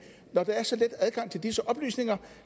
når der er så let adgang til disse oplysninger